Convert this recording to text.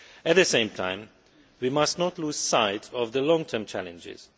At the same time, we must not lose sight of the long term challenges.